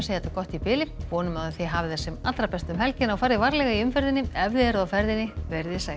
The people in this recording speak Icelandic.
þetta gott í bili og vonum að þið hafið það sem allra best um helgina og farið varlega í umferðinni ef þið eruð á ferðinni veriði sæl